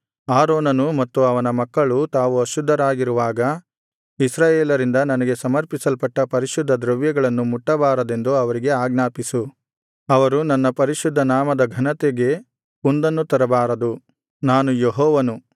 ಆರೋನನೂ ಮತ್ತು ಅವನ ಮಕ್ಕಳೂ ತಾವು ಅಶುದ್ಧರಾಗಿರುವಾಗ ಇಸ್ರಾಯೇಲರಿಂದ ನನಗೆ ಸಮರ್ಪಿಸಲ್ಪಟ್ಟ ಪರಿಶುದ್ಧ ದ್ರವ್ಯಗಳನ್ನು ಮುಟ್ಟಬಾರದೆಂದು ಅವರಿಗೆ ಆಜ್ಞಾಪಿಸು ಅವರು ನನ್ನ ಪರಿಶುದ್ಧ ನಾಮದ ಘನತೆಗೆ ಕುಂದನ್ನು ತರಬಾರದು ನಾನು ಯೆಹೋವನು